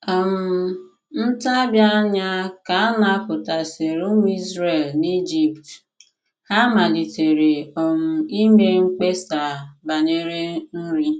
um Ntabi anya ka a napụtasịrị ụmụ Izrel n’Ijipt, ha malitere um ime mkpesa banyere nri.